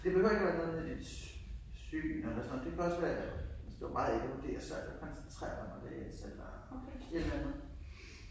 Det behøver ikke være noget med sit syn eller sådan noget det kan også være hvis du har meget ADHD og svært ved at koncentrere dig om at læse eller et eller andet